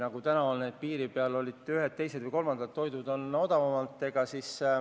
Nagu täna on: teisel pool piiri on ka ühed, teised või kolmandad toiduained odavamad.